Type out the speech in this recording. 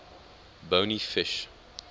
bony fish